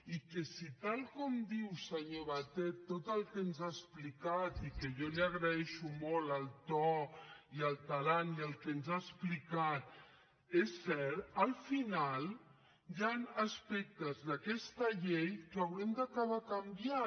i si tal com diu senyor batet tot el que ens ha explicat i jo li agraeixo molt el to i el tarannà i el que ens ha explicat és cert al final hi han aspectes d’aquesta llei que haurem d’acabar canviant